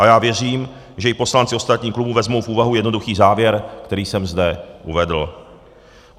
A já věřím, že i poslanci ostatních klubů vezmou v úvahu jednoduchý závěr, který jsem zde uvedl.